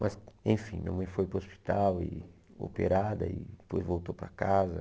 Mas, enfim, minha mãe foi para o hospital, e operada, e depois voltou para casa.